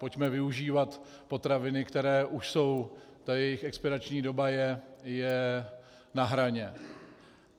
Pojďme využívat potraviny, které už jsou, ta jejich expirační doba je na hraně.